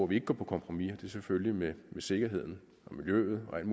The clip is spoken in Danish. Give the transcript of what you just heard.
vi ikke går på kompromis og det er selvfølgelig med sikkerheden og miljøet og alt